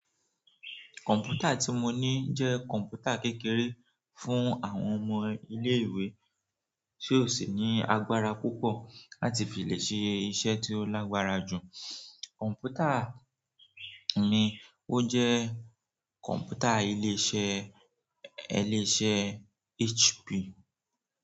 Kọ̀m̀pútà tí mo ní jẹ́ kọ̀m̀pútà kékeré fún àwọn ọmọ ilé-ìwé tí ò sí ní agbára púpọ̀ láti fi lè ṣe iṣẹ́ tí ó lágbára jù. Kọ̀m̀pútà mi, ó jẹ́ kọ̀m̀pútà ilé-iṣẹ́ HP.